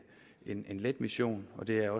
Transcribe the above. en let mission det er